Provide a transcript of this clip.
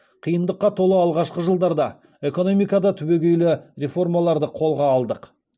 қиындыққа толы алғашқы жылдарда экономикада түбегейлі реформаларды қолға алдық